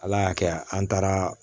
Ala y'a kɛ an taara